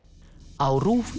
á RÚV í